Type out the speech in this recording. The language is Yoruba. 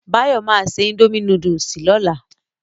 Báyọ̀ ma ṣe indomie núdúsì lọ́la